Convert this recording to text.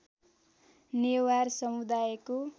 नेवार समुदायको